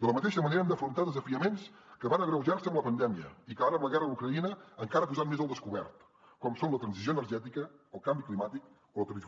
de la mateixa manera hem d’afrontar desafiaments que van agreujar se amb la pandèmia i que ara la guerra d’ucraïna encara ha posat més al descobert com són la transició energètica el canvi climàtic o la